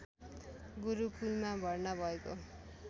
गुरुकुलमा भर्ना भएको